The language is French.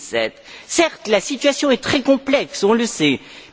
2007? Certes, la situation est très complexe, on le sait.